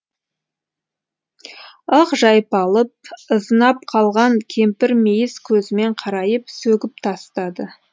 ық жайпалып ызынап қалған кемпір мейіз көзімен қарайып сөгіп тастады